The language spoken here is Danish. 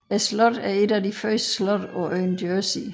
Slottet er et af de første slotte på øen Jersey